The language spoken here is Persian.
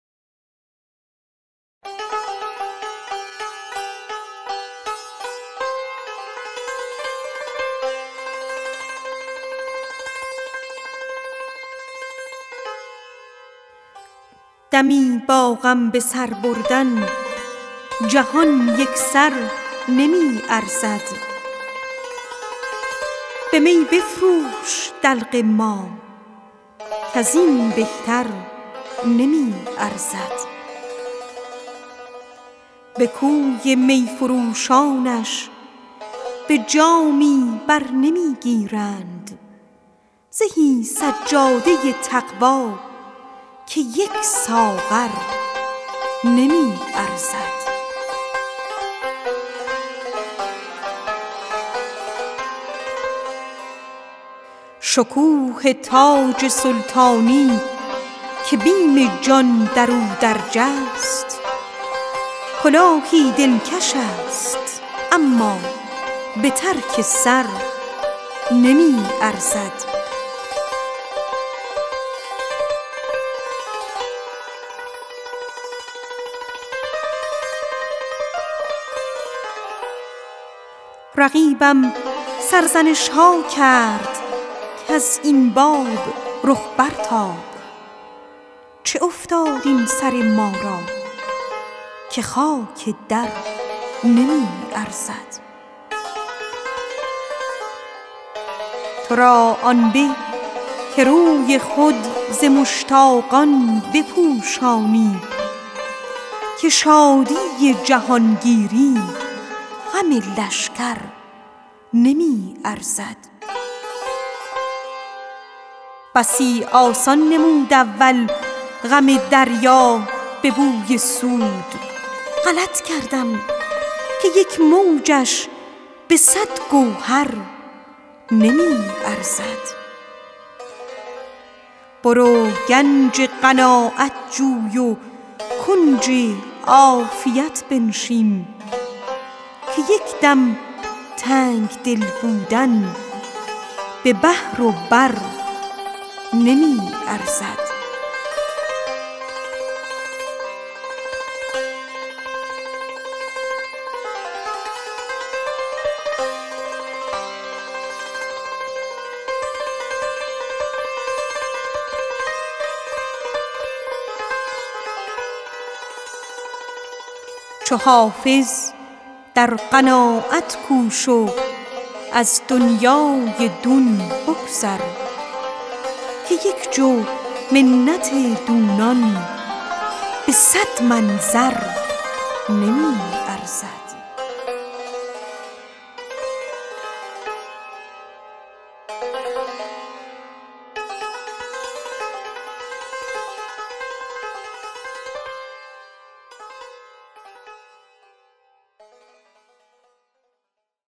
دمی با غم به سر بردن جهان یک سر نمی ارزد به می بفروش دلق ما کز این بهتر نمی ارزد به کوی می فروشانش به جامی بر نمی گیرند زهی سجاده تقوا که یک ساغر نمی ارزد رقیبم سرزنش ها کرد کز این باب رخ برتاب چه افتاد این سر ما را که خاک در نمی ارزد شکوه تاج سلطانی که بیم جان در او درج است کلاهی دلکش است اما به ترک سر نمی ارزد چه آسان می نمود اول غم دریا به بوی سود غلط کردم که این طوفان به صد گوهر نمی ارزد تو را آن به که روی خود ز مشتاقان بپوشانی که شادی جهانگیری غم لشکر نمی ارزد چو حافظ در قناعت کوش و از دنیای دون بگذر که یک جو منت دونان دو صد من زر نمی ارزد